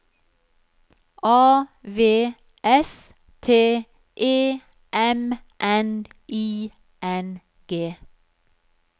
A V S T E M N I N G